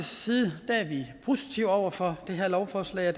side er vi positive over for det her lovforslag